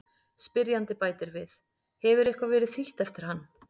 Spyrjandi bætir við: Hefur eitthvað verið þýtt eftir hann?